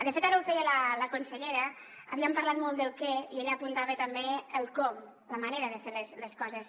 de fet ara ho feia la consellera havíem parlat molt del què i ella apuntava també el com la manera de fer les coses